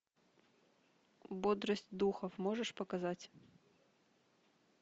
бодрость духов можешь показать